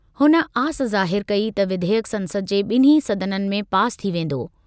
हुन आस ज़ाहिर कई त विधेयक संसद जे ॿिन्ही सदननि में पासि थी वेंदो।